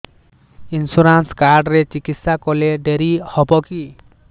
insurance card ରେ ଚିକିତ୍ସା କଲେ ଡେରି ହବକି